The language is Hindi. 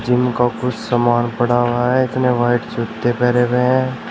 जीम का कुछ सामान पड़ा हुआ है इसने वाइट जूते पहरे हुए हैं।